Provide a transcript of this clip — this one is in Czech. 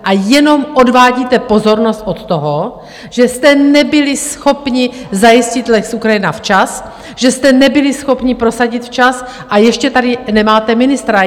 A jenom odvádíte pozornost od toho, že jste nebyli schopni zajistit lex Ukrajina včas, že jste nebyli schopni prosadit včas, a ještě tady nemáte ministra!